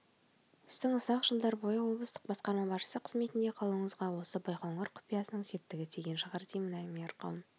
сіздің ұзақ жылдар бойы облыстық басқарма басшысы қызметінде қалуыңызға осы байқоңыр құпиясының септігі тиген шығар деймін әңгіме арқауын